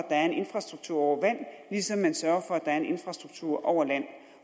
er en infrastruktur over vand ligesom man sørger for at der er en infrastruktur over land